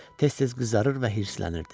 Tez-tez qızarır və hirslənirdi.